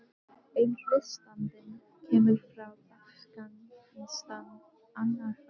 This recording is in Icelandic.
Einn hlustandinn kemur frá Afganistan, annar frá Íran.